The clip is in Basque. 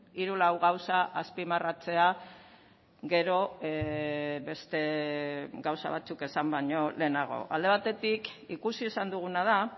hiru lau gauza azpimarratzea gero beste gauza batzuk esan baino lehenago alde batetik ikusi izan duguna da